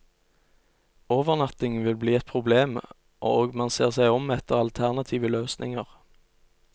Overnatting vil bli et problem, og man ser seg om etter alternative løsninger.